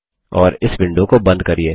और इस विंडो को बंद करिये